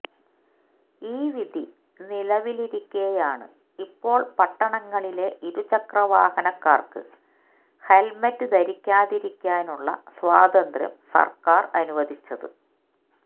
ഈ വിധി നിലവിലിരിക്കെയാണ് ഇപ്പോള് പട്ടണങ്ങളിലെ ഇരുചക്രവാഹനക്കാര്ക്ക് ഹെല്മെറ്റ് ധരിക്കാതിരിക്കാനുള്ള സ്വാതന്ത്ര്യം സര്ക്കാര് അനുവദിച്ചത്